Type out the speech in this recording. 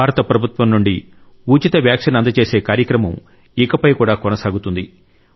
భారత ప్రభుత్వం నుండి ఉచిత వ్యాక్సిన్ అందజేసే కార్యక్రమం ఇకపై కూడా కొనసాగుతుంది